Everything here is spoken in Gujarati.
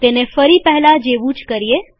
તેને ફરી પહેલા જેવું કરીએ